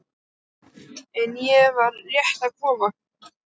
En ég var rétt að koma.